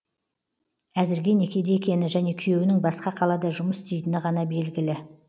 әзірге некеде екені және күйеуінің басқа қалада жұмыс істейтіні ғана белгілі